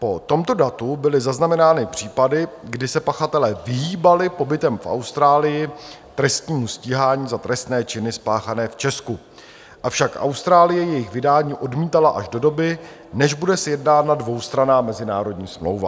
Po tomto datu byly zaznamenány případy, kdy se pachatelé vyhýbali pobytem v Austrálii trestnímu stíhání za trestné činy spáchané v Česku, avšak Austrálie jejich vydání odmítala až do doby, než bude sjednána dvoustranná mezinárodní smlouva.